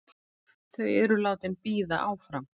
Þau eru látin bíða áfram.